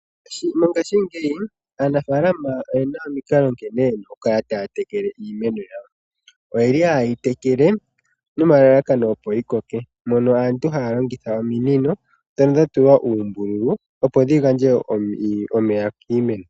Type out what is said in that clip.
Mongashingeyi aanafalama oyena omikalo nkene yena okukala taa tekele iimeno yawo oyeli hayeyi tekele nomalalakano opo yi koke mono aantu haa longitha uumbululu mbono wa tsuwa oombululu opo dhi gandje omeya kiimeno.